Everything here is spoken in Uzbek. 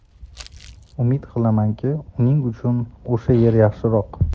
Umid qilamanki, uning uchun o‘sha yer yaxshiroq.